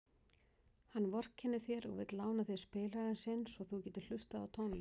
Hann vorkennir þér og vill lána þér spilarann sinn svo þú getir hlustað á tónlist.